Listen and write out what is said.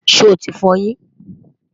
sho tí f'oyin?